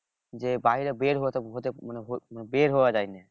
যে বাইরে বের হতে হতে হতে বের হওয়া যায়না